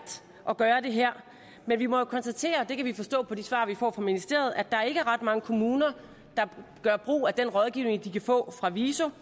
at gøre det her men vi må jo konstatere det kan vi forstå på de svar vi får fra ministeriet at der ikke er ret mange kommuner der gør brug af den rådgivning de kan få fra viso